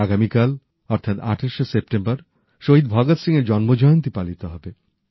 আগামীকাল অর্থাৎ আটাশে সেপ্টেম্বর শহীদ ভগৎ সিংএর জন্মজয়ন্তী পালিত হবে